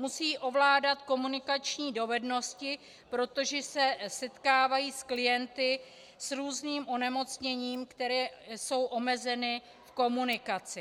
Musí ovládat komunikační dovednosti, protože se setkávají s klienty s různým onemocněním, kteří jsou omezeni v komunikaci.